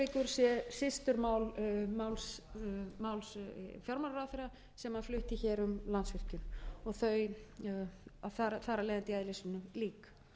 sé systurmál máls fjármálaráðherra sem hannflutti hér um landsvirkjun þar af leiðandi í eðli sínu lík